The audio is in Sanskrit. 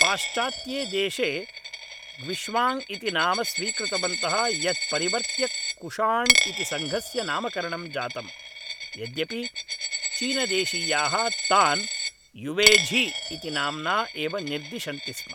पाश्चात्ये देशे ग्विश्वाङ्ग इति नाम स्वीकृतवन्तः यत् परिवर्त्य कुषाण् इति संघस्य नामकरणं जातम्, यद्यपि चीनदेशीयाः तान् युवेझी इति नाम्ना एव निर्दिशन्ति स्म।